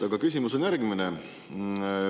Aga küsimus on järgmine.